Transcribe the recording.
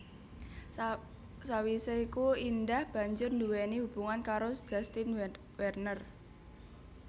Sawisé iku Indah banjur nduwéni hubungan karo Justin Werner